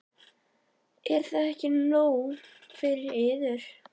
Er það ekki nóg fyrir yður?